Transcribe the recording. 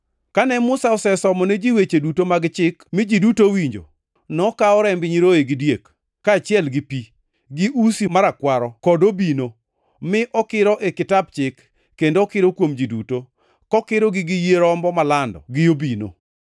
Kane Musa osesomo ne ji weche duto mag chik mi ji duto owinjo, nokawo remb nyiroye gi diek, kaachiel gi pi, gi usi marakwaro kod obino, mi okiro e Kitap Chik, kendo okiro kuom ji duto, kokirogi gi yie rombo malando gi obino.